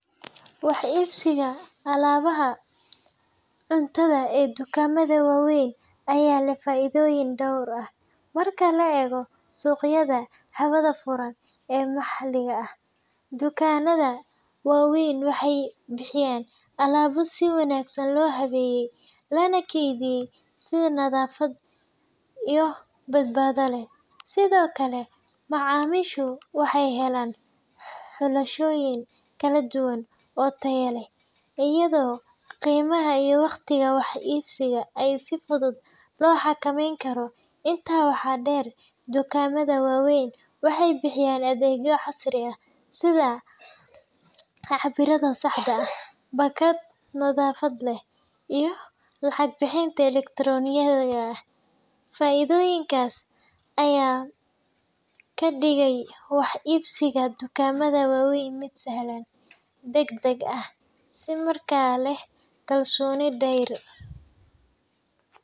Wax iibsiga alaabaha cuntada ee dukaamada waaweyn ayaa leh faa’iidooyin dhowr ah marka loo eego suuqyada hawada furan ee maxalliga ah. Dukaanada waaweyn waxay bixiyaan alaabo si wanaagsan loo habeeyay, lana keydiyay si nadaafad iyo badbaado leh. Sidoo kale, macaamiishu waxay helaan xulashooyin kala duwan oo tayo leh, iyadoo qiimaha iyo waqtiga wax iibsiga ay si fudud loo xakameyn karo. Intaa waxaa dheer, dukaamada waaweyn waxay bixiyaan adeegyo casri ah sida cabbiraadda saxda ah, baakad nadaafad leh, iyo lacag bixinta elektaroonigga ah. Faa’iidooyinkaas ayaa ka dhigaya wax iibsiga dukaamada waaweyn mid sahlan, degdeg ah, isla markaana leh kalsooni dheeraad ah.